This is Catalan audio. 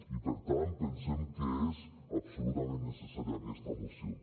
i per tant pensem que és absolutament necessària aquesta moció